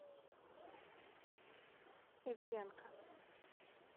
эвеленка